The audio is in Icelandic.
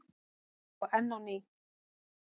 Og enn á ný.